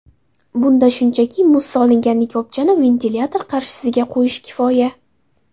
Bunda shunchaki muz solingan likopchani ventilyator qarshisiga qo‘yish kifoya.